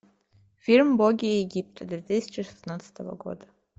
фильм боги египта две тысячи шестнадцатого года